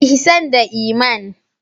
Ihsan da Iman.